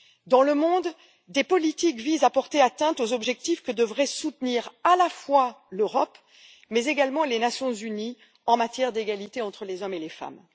Dans le monde, des politiques visent à porter atteinte aux objectifs que devraient soutenir non seulement l'Europe mais également les Nations unies en matière d'égalité entre les hommes et les femmes.